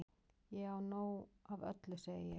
Ég á nóg af öllu segi ég.